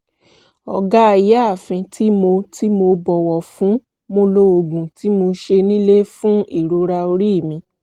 ọ̀gá/ìyáàfin tí mo tí mo bọ̀wọ̀ fún mo lo oògùn tí mo ṣe nílé fún ìrora orí mi